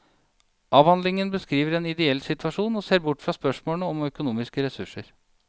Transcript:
Avhandlingen beskriver en ideell situasjon og ser bort fra spørsmål om økonomiske ressurser.